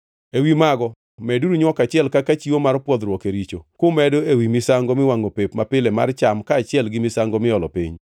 Ewi mago meduru nywok achiel kaka chiwo mar pwodhruok e richo, kumedo ewi misango miwangʼo pep mapile mar cham kaachiel gi misango miolo piny.